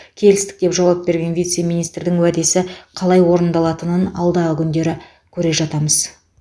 келістік деп жауап берген вице министрдің уәдесі қалай орындалатынын алдағы күндері көре жатармыз